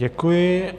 Děkuji.